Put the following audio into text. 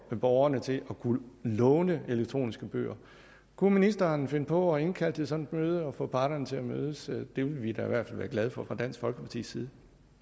borgerne til at kunne låne elektroniske bøger kunne ministeren finde på at indkalde til sådan et møde og får parterne til at mødes det ville vi da i hvert fald være glade for fra dansk folkepartis side